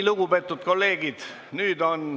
Lugupeetud kolleegid!